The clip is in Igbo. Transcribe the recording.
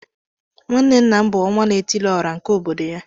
Nwanne nna m bu onwa-na-etili-ora nke obodo ya.